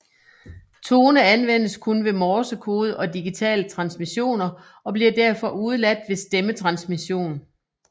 Tone anvendes kun ved morsekode og digitale transmissioner og bliver derfor udeladt ved stemmetransmission